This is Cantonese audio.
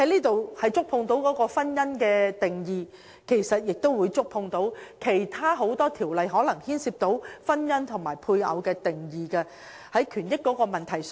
《條例草案》涉及婚姻的定義，因而亦觸及其他眾多條例中涉及婚姻和配偶的定義，也關乎權益的問題。